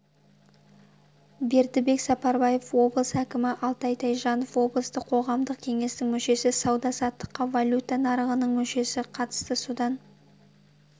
бердібек сапарбаев облыс әкімі алтай тайжанов облыстық қоғамдық кеңестің мүшесі сауда-саттыққа валюта нарығының мүшесі қатысты содан